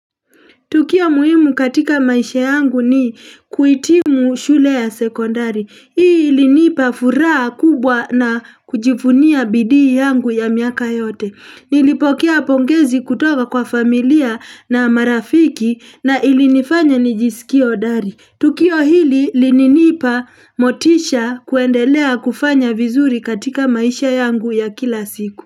Tukio muhimu katika maisha yangu ni kuhitimu shule ya sekondari Hii ilinipa furaha kubwa na kujivunia bidii yangu ya miaka yote Nilipokea pongezi kutoka kwa familia na marafiki na ilinifanya nijisikie hodari Tukio hili lininipa motisha kuendelea kufanya vizuri katika maisha yangu ya kila siku.